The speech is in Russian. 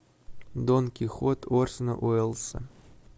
дон кихот орсона уэллса